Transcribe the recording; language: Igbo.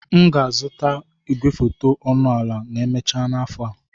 M ga-azụta igwefoto ọnụ ala ma emechaa afọ a.